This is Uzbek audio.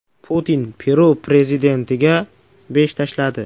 Putin Peru prezidentiga besh tashladi.